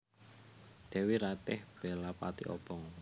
Dèwi Ratih bela pati obong